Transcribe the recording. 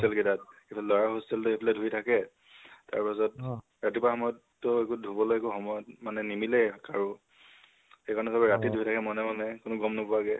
গোতেই hostel কেইতাত এফালে লʼৰা hostel টোয়ে আহি ধুই থাক, তাৰ পাছত ৰাতিপোৱা সময়তটো একো ধুবলৈ একো সময়ত মানে নিমিলে আৰু। সেই কাৰণে চবে ৰাতি ধুই থাকে মনে মনে কোনো গম নোপোৱাকে